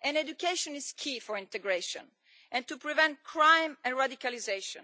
and education is key for integration and to prevent crime and radicalisation.